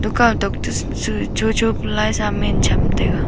tukaw tok toh cho cho pe laisa am chem taiga.